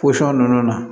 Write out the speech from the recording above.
ninnu na